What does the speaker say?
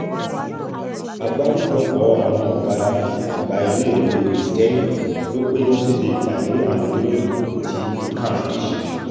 àgbáríjọpọ̀ àwọn ọ̀gá àgbà iléèwé kristẹni ló péjú síbi ìpàdé àwọn oníròyìn tí can ṣe